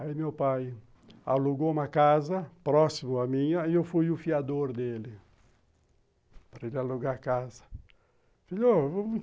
Aí meu pai alugou uma casa próximo a minha e eu fui o fiador dele para ele alugar a casa.